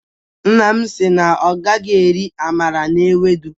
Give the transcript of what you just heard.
Nna m si na ọ gaghi eri amala na ewedu